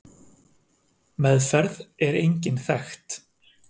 Meðferð er engin þekkt.